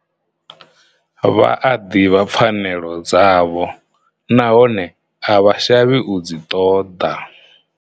Vha a ḓivha pfanelo dzavho nahone a vha shavhi u dzi ṱoḓa.